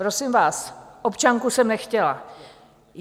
Prosím vás, občanku jsem nechtěla.